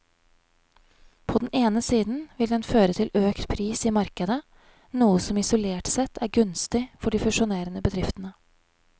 På den ene siden vil den føre til økt pris i markedet, noe som isolert sett er gunstig for de fusjonerende bedriftene.